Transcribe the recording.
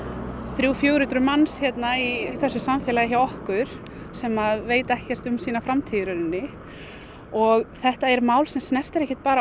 þrjú til fjögur hundruð manns í samfélaginu hjá okkur sem veit ekkert um sína framtíð í raunni og þetta mál sem snerti ekki bara